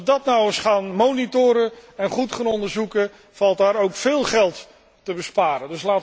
Als wij dat nu eens gaan controleren en goed gaan onderzoeken, valt daar ook veel geld te besparen.